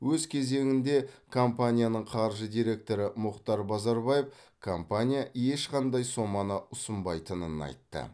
өз кезегінде компанияның қаржы директоры мұхтар базарбаев компания ешқандай соманы ұсынбайтынын айтты